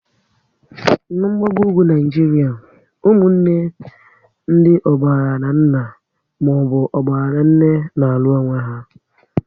Na gbagoo ugwu Naịjiria, ụmụnne ndị ọgbara na nna maọbụ ọgbara na nne n'alu onwe ha